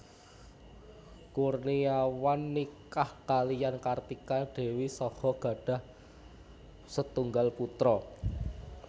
Kurniawan nikah kaliyan Kartika Dewi saha gadhah setunggal putra